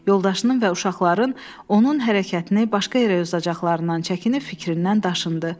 Yoldaşının və uşaqların onun hərəkətini başqa yerə yozacaqlarından çəkinib fikrindən daşındı.